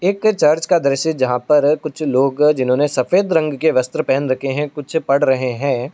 एक चर्च का दृश्य जहाँ पर कुछ लोग जिन्होंने सफेद रंग के वस्त्र पहन रखे हैं। कुछ पढ़ रहे है।